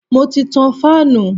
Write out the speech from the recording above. Mo ti tan fáànù.